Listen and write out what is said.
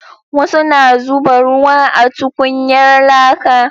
Wasu na zuba ruwa a tukunyar laka